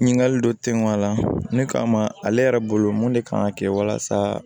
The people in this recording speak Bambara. Ɲininkali dɔ tɛ ŋ'a la min kama ale yɛrɛ bolo mun de kan ka kɛ walasa